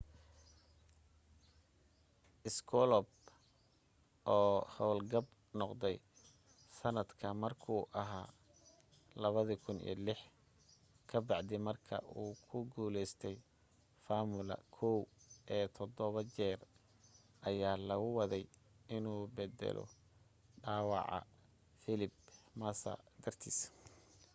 schumacher oo howlgab noqday sanadka markuu aha 2006 ka bacdi marka uu ku guleystay formula 1 ee todobo jeer ayaa lagu waday inuu beddelo dhaawaca felipe massa dartiis